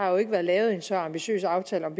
jo ikke været lavet en så ambitiøs aftale om